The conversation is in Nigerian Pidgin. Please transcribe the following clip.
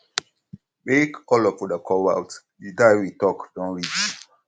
make all of um una come out the time um we talk don reach